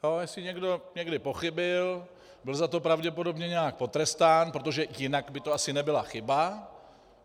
Jestli někdo někdy pochybil, byl za to pravděpodobně nějak potrestán, protože jinak by to asi nebyla chyba.